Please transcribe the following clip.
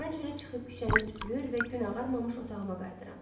Mən çölə çıxıb küçəni süpürür və gün ağarmamış otağıma qayıdıram.